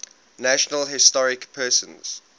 national historic persons